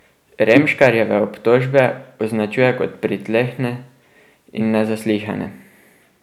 Remškarjeve obtožbe označuje kot pritlehne in nezaslišane.